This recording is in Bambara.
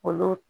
Olu